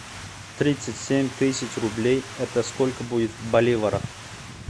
тридцать семь тысяч рублей это сколько будет в боливарах